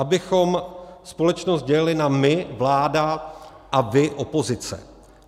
Abychom společnost dělili na my - vláda, a vy - opozice.